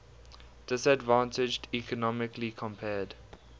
disadvantaged economically compared